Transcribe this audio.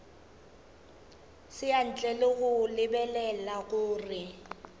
ntle le go lebelela gore